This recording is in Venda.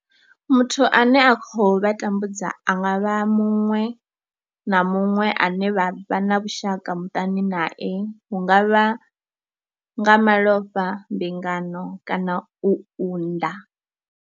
Muthu ane a khou vha tambudza a nga vha muṅwe na muṅwe ane vha vha na vhushaka muṱani nae hu nga vha nga malofha, mbingano kana u unḓa.